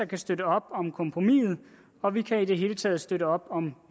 kan støtte op om kompromisset og vi kan i det hele taget støtte op om